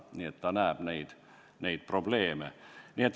Nii et ta näeb neid probleeme.